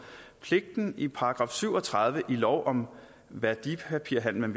pligten i § syv og tredive i lov om værdipapirhandel